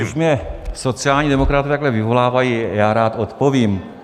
Když mě sociální demokraté takhle vyvolávají, já rád odpovím.